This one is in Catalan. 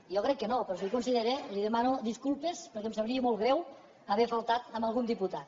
jo crec que no però si ho considera li demano disculpes perquè em sabria molt greu haver faltat a algun diputat